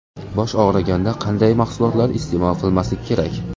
Bosh og‘riganda qanday mahsulotlar iste’mol qilmaslik kerak?.